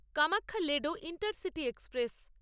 Kamakhya Ledo intercity express